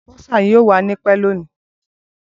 Bursar yoo wa ni pẹ loni.